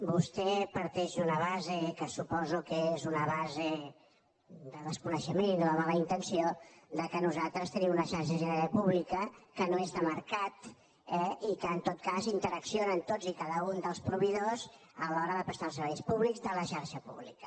vostè parteix d’una base que suposo que és una base de desconeixement i no de mala intenció que nosaltres tenim una xarxa sanitària pública que no és de mercat eh i que en tot cas interaccionen tots i cada un dels proveïdors a l’hora de prestar els serveis públics de la xarxa pública